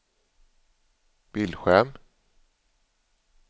bildskärm